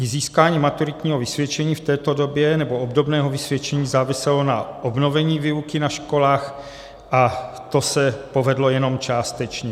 I získání maturitního vysvědčení v této době nebo obdobného vysvědčení záviselo na obnovení výuky na školách a to se povedlo jenom částečně.